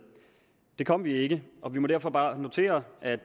det kom vi ikke og vi må derfor bare notere at